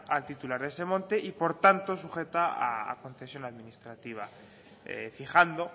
al titular de ese monte y por tanto sujeta a concesión administrativa fijando